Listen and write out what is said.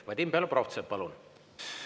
Vadim Belobrovtsev, palun!